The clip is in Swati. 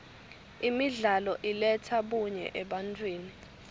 imidlalo iletsa bunye ebantfwini